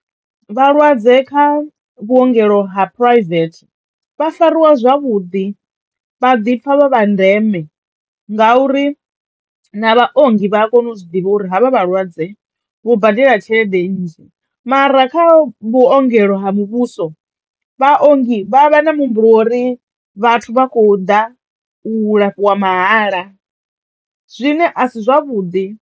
Vhalwadze kha vhuongelo ha private vha fariwa zwavhuḓi vha ḓipfa vha vha ndeme ngauri na vhaongi vha ya kona u zwi ḓivha uri havha vhalwadze vho badela tshelede nnzhi mara kha vhuongelo ha muvhuso vhaongi vha vha na muhumbulo wo ri vhathu vha khou ḓa u lafhiwa mahala zwine a si zwavhuḓi.